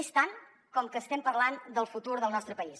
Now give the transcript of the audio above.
és tant com que estem parlant del futur del nostre país